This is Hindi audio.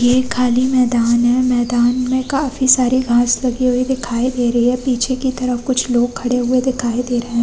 ये खाली मैदान है। मैदान में काफी सारी घास लगी हुई दिखाई दे रही है। पीछे की तरफ कुछ लोग खड़े हुए दिखाई दे रहे --